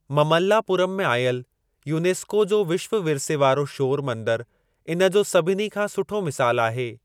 ममल्लापुरम में आयल यूनेस्को जो विश्व विरसे वारो शोर मंदरु इन जो सभिनी खां सुठो मिसालु आहे।